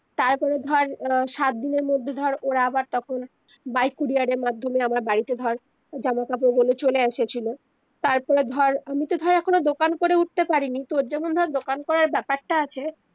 তার পরে ধর আহ সাতদিনের মধ্যে ধর ওরা আবার তখন by courier এর মাধ্যমে বাড়িতে ধর জামা কাপড়গুলো চলে এসেছিলো তার পরে ধর আমি তো ধর এখন আর দোকান করে উঠতে পারিনি তর যেমন ধর দোকান করার বেপারটা আছে